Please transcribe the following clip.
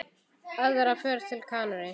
Aðra ferð til Kanarí?